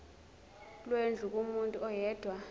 lwendlu kumuntu oyedwa